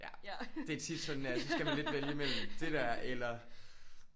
Ja det er tit sådan at så skal man lidt vælge imellem det der eller